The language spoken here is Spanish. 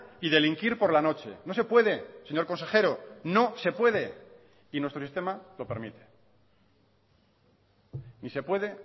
y delinquir por la noche no se puede señor consejero no se puede y nuestro sistema lo permite ni se puede